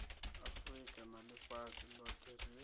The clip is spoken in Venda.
afurika na ḽifhasi ḽoṱhe ri